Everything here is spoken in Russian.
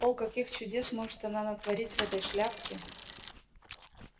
о каких чудес может она натворить в этой шляпке